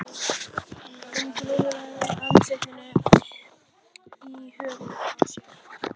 Hún grúfði andlitið í höndum sér.